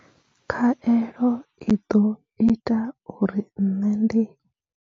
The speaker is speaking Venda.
Khaelo i ḓo ita uri nṋe ndi.